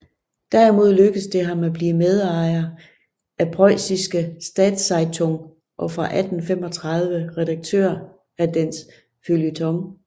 Derimod lykkedes det ham at blive medarbejder af Preussische Staatszeitung og fra 1835 redaktør af dens feuilleton